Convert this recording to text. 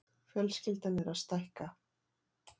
Fjölskyldan er að stækka.